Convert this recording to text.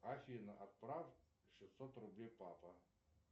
афина отправь шестьсот рублей папа